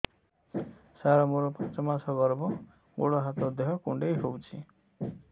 ସାର ମୋର ପାଞ୍ଚ ମାସ ଗର୍ଭ ଗୋଡ ହାତ ଦେହ କୁଣ୍ଡେଇ ହେଉଛି